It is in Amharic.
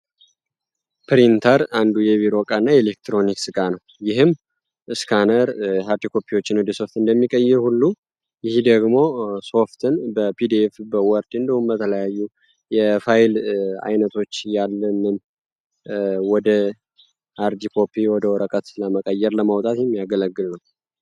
ፕሪንተር አንዱ የቪሮ እቃ እና ኤሌክትሮኒክ ስጋ ነው ይህም ስካነር ሀርቲኮፕዎችን ወደ ሶፍት እንደሚቀይር ሁሉ ይህ ደግሞ ሶፍትን በፒድኤቭ በወርድ እንደውመ ተለያዩ የፋይል አይነቶች ያለንን ወደ ሃርዲኮፕ ወደ ወረቀት ለመቀየር ለማውጣት የሚያገለግል ነው።